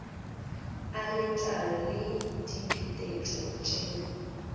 a letlalo le diphetetšo tšeo